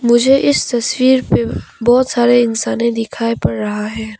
मुझे इस तस्वीर पे बहुत सारे इंसाने दिखाई पड़ रहा है।